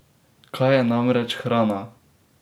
Kaj je namreč hrana?